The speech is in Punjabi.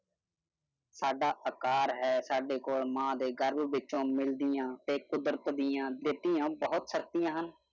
ਸਾਡਾ ਆਕਾਰ ਹੈ ਸਾਡੇ ਕੋਲ ਮਾਂ ਦੇ ਗਰਭ ਵਿੱਚੋ ਮਿਲਦੀਆਂ ਤੇ ਕੁਦਰਤ ਦੀਆ ਦਿਤੀਆਂ ਬਹੁਤ ਸ਼ਕਤੀਆਂ ਹਨ।